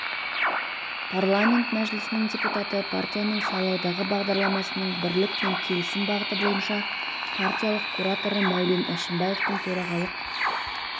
парламент мәжілісінің депутаты партияның сайлауалды бағдарламасының бірлік пен келісім бағыты бойынша партиялық кураторы мәулен әшімбаевтың төрағалық